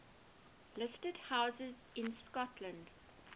listed houses in scotland